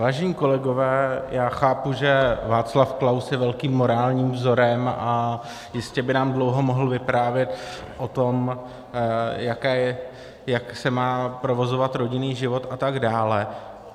Vážení kolegové, já chápu, že Václav Klaus je velkým morálním vzorem, a jistě by nám dlouho mohl vyprávět o tom, jak se má provozovat rodinný život a tak dále.